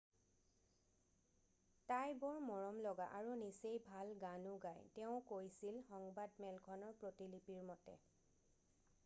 """তাই বৰ মৰমলগা আৰু নিচেই ভাল গানো গায়" তেওঁ কৈছিল সংবাদমেলখনৰ প্ৰতিলিপিৰ মতে।""